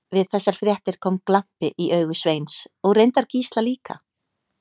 Við þessar fréttir kom glampi í augu Sveins og reyndar Gísla líka.